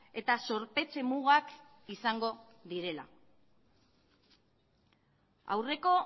eta zorpetze mugak izango direla aurreko